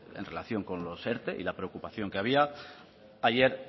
en relación con los erte y la preocupación que había ayer